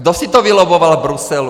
Kdo si to vylobboval v Bruselu?